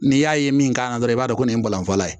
N'i y'a ye min k'a la dɔrɔn i b'a dɔn ko nin ye balɔnfala ye